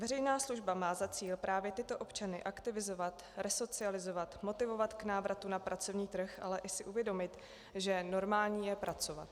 Veřejná služba má za cíl právě tyto občany aktivizovat, resocializovat, motivovat k návratu na pracovní trh, ale i si uvědomit, že normální je pracovat.